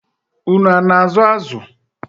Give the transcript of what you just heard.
Unu a na-azụ azụ?